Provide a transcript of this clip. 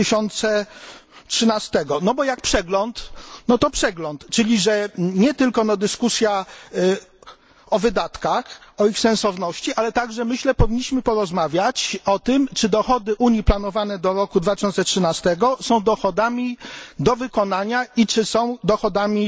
2013. Jak przegląd, to przegląd, czyli jest to nie tylko dyskusja o wydatkach, o ich sensowności, ale myślę, że także powinniśmy porozmawiać o tym, czy dochody Unii planowane do roku 2013 są dochodami do wykonania i czy są dochodami